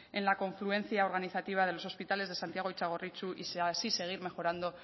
en la confluencia organizativa de los hospitales de santiago y txagorritxu y así seguir mejorando